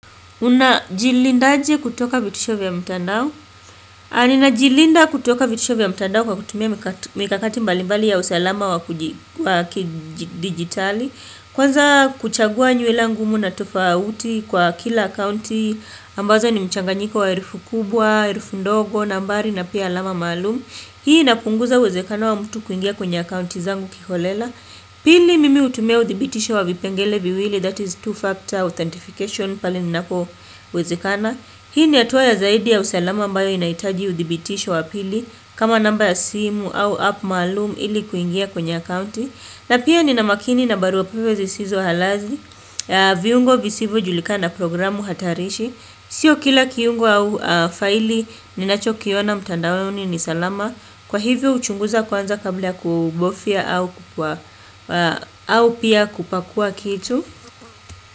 Unajilinda aje kutoka vitisho vya mtandao. Na ninajilinda kutoka vitisho vya mtandao kwa kutumia mikakati mbali mbali ya usalama wakidigitali. Kwanza kuchagua nywele ngumu na tofauti kwa kila kaunti ambazo ni mchanganyiko wa herufu kubwa, herufu ndogo, nambari na pia alama maalum. Hii inapunguza uwezekano wa mtu kuingia kwenye akounti zangu kiholela. Pili mimi hutumia udhibitisho wa vipengele viwili that is two factor authentication pale ninapowezekana Hii ni hatua ya zaidi ya usalama ambayo inahitaji udhibitisho wa pili kama namba ya simu au app malum ili kuingia kwenye akaunti na pia ninamakini na barua pepe zisizo halali viungo visivyojulikana programu hatarishi Sio kila kiungo au faili ninachokiona mtandaoni ni salama Kwa hivyo huchunguza kwanza kabla kuogofya au pia kupakua kitu.